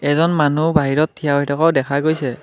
এজন মানুহ বাহিৰত থিয় হৈ থকাও দেখা গৈছে।